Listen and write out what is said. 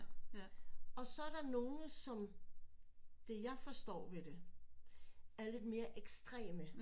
Og så er der nogen som det jeg forstår ved det er lidt mere ekstreme